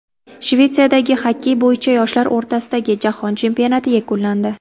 Shvetsiyada xokkey bo‘yicha yoshlar o‘rtasidagi jahon chempionati yakunlandi.